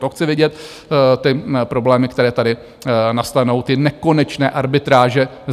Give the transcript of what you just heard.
To chci vidět ty problémy, které tady nastanou, ty nekonečné arbitráže.